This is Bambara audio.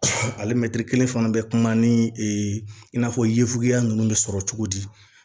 Ale kelen fana bɛ kuma ni ee i n'a fɔ ye fuguya ninnu bɛ sɔrɔ cogo di